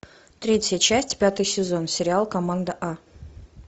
третья часть пятый сезон сериал команда а